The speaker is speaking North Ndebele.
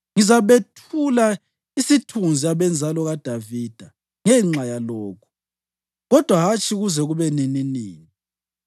Ngizabethula isithunzi abenzalo kaDavida ngenxa yalokhu, kodwa hatshi kuze kube nininini.’ ”